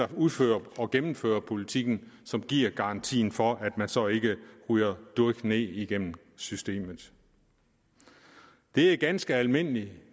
der udfører og gennemfører politikken som giver garantien for at man så ikke ryger durk ned igennem systemet det er ganske almindelig